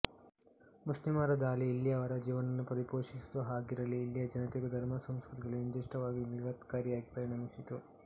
ಮುಸ್ಲಿಮರ ದಾಳಿ ಇಲ್ಲಿಯವರ ಜೀವನವನ್ನು ಪರಿಪೋಷಿಸುವುದು ಹಾಗಿರಲಿ ಇಲ್ಲಿಯ ಜನತೆಗೂ ಧರ್ಮ ಸಂಸ್ಕೃತಿಗಳಿಗೂ ನಿರ್ದಿಷ್ಟವಾಗಿ ವಿಪತ್ಕಾರಿಯಾಗಿ ಪರಿಣಮಿಸಿತು